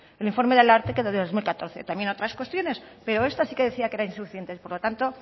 el informe del ararteko del dos mil catorce también otras cuestiones pero esta sí que decía que era insuficiente por lo tanto